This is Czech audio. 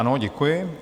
Ano, děkuji.